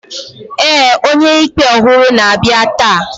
ee, onye-ikpe ọhụrụ na-abịa taa